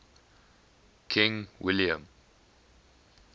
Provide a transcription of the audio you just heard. king william